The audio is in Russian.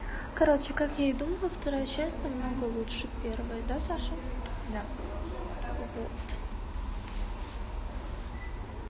короче как я и думала вторая часть на много лучше первой да саша да